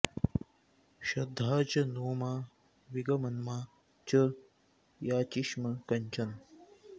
शद्धा च नो मा विगमन्मा च याचिष्म कञ्चन